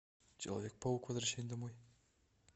человек паук возвращение домой